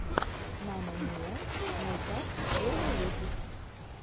мама миа мэйкап первый выпуск